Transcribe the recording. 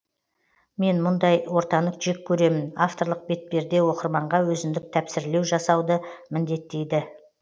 мен бұндай ортаны жек көремін авторлық бетперде оқырманға өзіндік тәпсірлеу жасауды міндеттейді